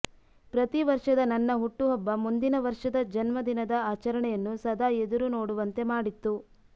ಪ್ರತಿ ವರ್ಷದ ನನ್ನ ಹುಟ್ಟು ಹಬ್ಬ ಮುಂದಿನ ವರ್ಷದ ಜನ್ಮ ದಿನದ ಆಚರಣೆಯನ್ನು ಸದಾ ಎದುರು ನೋಡುವಂತೆ ಮಾಡಿತ್ತು